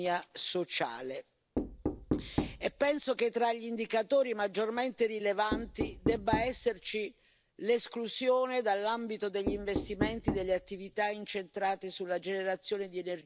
Penso che tra gli indicatori maggiormente rilevanti debba esserci l'esclusione dall'ambito degli investimenti delle attività incentrate sulla generazione di energia da combustibili fossili.